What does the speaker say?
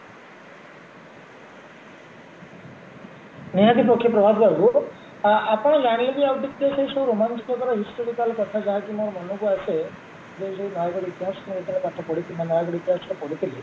ନିହାତି ପକ୍ଷେ ପ୍ରଭାତ ବାବୁ ଆ ଆପଣ ସେଇ ସବୁ ରୋମାଞ୍ଚକ ଦ୍ଵାରା historical କଥା ଯାହାକି ମୋର ମନକୁ ଆସେ ସେଇ ସେଇ ନୟାଗଡ ଇତିହାସ ପାଠ ପଢିକି ମାନେ ନୟାଗଡ ଇତିହାସରେ ପଢିଥିଲି